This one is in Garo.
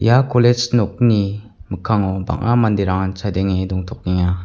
ia kolej nokni mikkango bang·a manderangan chadenge dongtokenga.